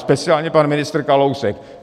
Speciálně pan ministr Kalousek.